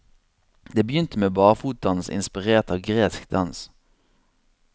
Det begynte med barfotdans, inspirert av gresk dans.